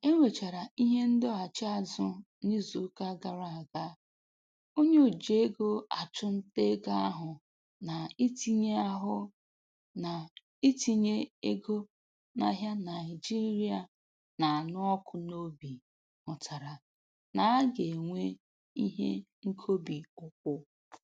Ka e nwechara ihe ndọghachi azụ n'izuụka gara aga, onye oji ego achụ nta ego ahụ na-itinye ahụ na-itinye ego n'ahịa Naịjirịa na-anụ ọkụ n'obi hụtara na-aga enwe ihe nkobi ụkwụ